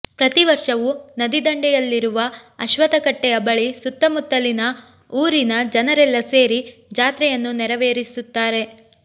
ಪ್ರತಿವರ್ಷವೂ ನದಿ ದಂಡೆಯಲ್ಲಿರುವ ಅಶ್ವತ್ಥಕಟ್ಟೆಯ ಬಳಿ ಸುತ್ತಮುತ್ತಲಿನ ಊರಿನ ಜನರೆಲ್ಲ ಸೇರಿ ಜಾತ್ರೆಯನ್ನು ನೆರವೇರಿಸುತ್ತಾರೆ